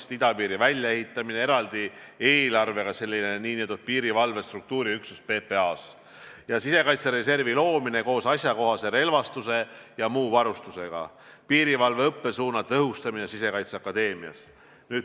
Ehk siis idapiiri väljaehitamine, eraldi eelarvega nn piirivalve struktuuriüksus PPA-s ja sisekaitsereservi loomine koos ajakohase relvastuse ja muu varustusega, samuti piirivalve õppesuuna tõhustamine Sisekaitseakadeemias.